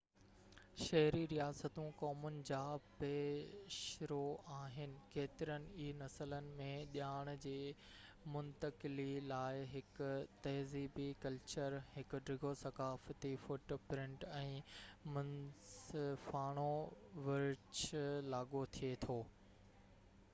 شهري رياستون قومن جا پيشرو آهن ڪيترن ئي نسلن ۾ ڄاڻ جي منتقلي لاءِ هڪ تهذيبي ڪلچر هڪ ڊگهو ثقافتي فوٽ پرنٽ ۽ منصفاڻو ورڇ لاڳو ٿئي ٿي